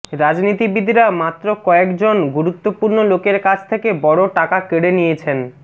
রাজনীতিবিদরা মাত্র কয়েকজন গুরুত্বপূর্ণ লোকের কাছ থেকে বড় টাকা কেড়ে নিয়েছেন